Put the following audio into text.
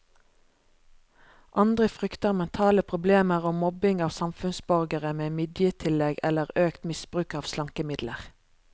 Andre frykter mentale problemer og mobbing av samfunnsborgere med midjetillegg eller økt misbruk av slankemidler.